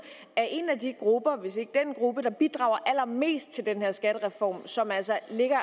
er en af de grupper hvis ikke den gruppe der bidrager allermest til den her skattereform og som altså lægger